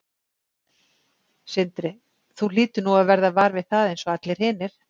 Sindri: Þú hlýtur nú að verða var við það eins og allir hinir?